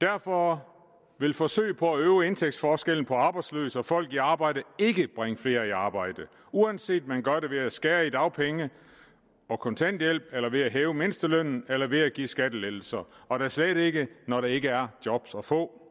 derfor vil forsøg på at øge indtægtsforskellen på arbejdsløse og folk i arbejde ikke bringe flere i arbejde uanset om man gør det ved at skære i dagpenge og kontanthjælp eller ved at hæve mindstelønnen eller ved at give skattelettelser og da slet ikke når der ikke er job at få